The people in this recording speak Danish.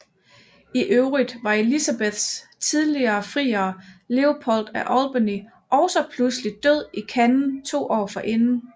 I øvrigt var Elisabeths tidligere friere Leopold af Albany også pludselig død i Cannes to år forinden